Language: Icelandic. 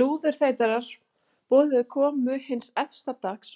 Lúðurþeytarar boðuðu komu hins efsta dags